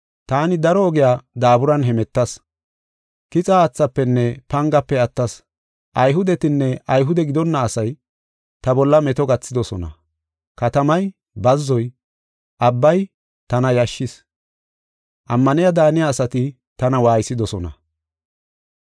Taani daro ogiya daaburan hemetas. Kixa haathafenne pangafe attas. Ayhudetinne Ayhude gidonna asay ta bolla meto gathidosona. Katamay, bazzoy, abbay, tana yashshis; ammaniya daaniya asati tana waaysidosona.